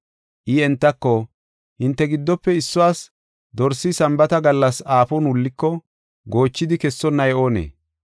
I entako, “Hinte giddofe issuwas dorsi Sambaata gallas aafon wulliko, goochidi kessonnay oonee?